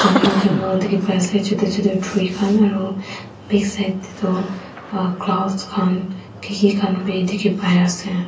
jungle jungle dikhipaiase chutu chutu tree khan aro backside tae toh clouds khan kiki khan bi dikhipaiase.